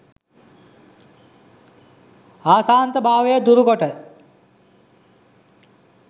අශාන්ත භාවය දුරු කොට